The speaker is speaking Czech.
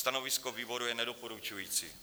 Stanovisko výboru je nedoporučující.